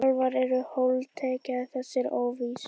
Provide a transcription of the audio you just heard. Álfar eru holdtekja þessarar óvissu.